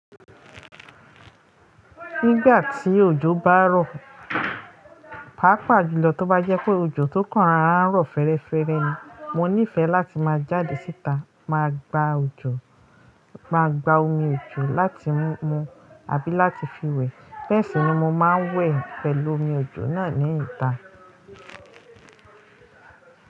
Nígbà tí òjò bá rọ̀, pàápàá jùlọ tó bá jẹ́ pé òjò tó kàn rán rọ̀ fẹ́ẹ́rẹ́fẹ́ ni, mo níìfẹ̀ láti máa jáde síta, máa gba òjò, máa gba omi òjò láti mu àbí láti fi wẹ̀. Bẹ́ẹ̀ sì ni mo máa ń wẹ̀ pẹ̀lú omi òjò náà ní ìta.